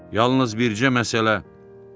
Yalnız bircə məsələ.